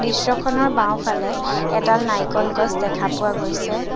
দৃশ্যখনৰ বাওঁফালে এডাল নাৰিকল গছ দেখা পোৱা গৈছে।